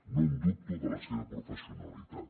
no en dubto de la seva professionalitat